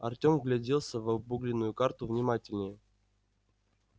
артём вгляделся в обугленную карту внимательнее